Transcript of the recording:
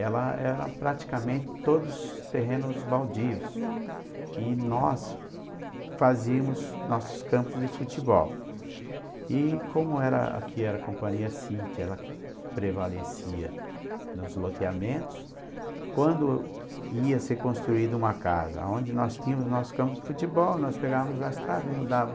ela era praticamente todos os terrenos baldios, hm, e nós fazíamos nossos campos de futebol e como era a que a companhia city ela que prevalecia nos loteamentos quando ia ser construído uma casa onde nós temos nosso campo de futebol nós pegamos as traves e mudava